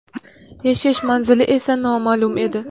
Yashash manzili esa noma’lum edi.